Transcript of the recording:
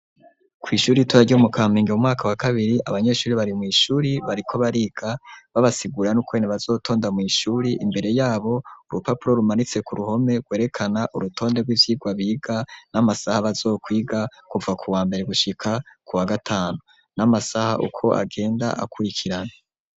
Kw'ishuri itorarya umu kampenge mu mwaka wa kabiri abanyeshuri bari mw'ishuri bariko bariga babasigura n'ukwene bazotonda mw'ishuri imbere yabo urupapuro rumaritse ku ruhome rwerekana urutonde rw'ivyirwa biga n'amasaha bazokwiga kuva ku wa mbere gushika ku wa gatanu n'amasaha ukwo agenda akurikirane.